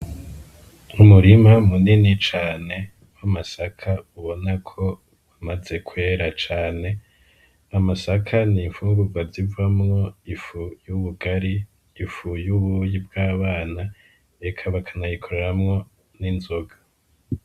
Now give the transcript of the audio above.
Umurima munini cane wo amasaka ubona ko wamaze kwera cane amasaka nimfungura zivamwo ifuy'ubugari ifuy' ubuyi bw'abana eka bakanagikoreramwo n'inzoga.